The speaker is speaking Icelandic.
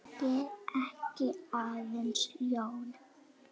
Ég er ekki aðeins ljón.